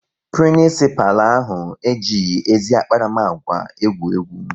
Prinisipalụ ahụ ejighị ezi akparamagwa egwu egwu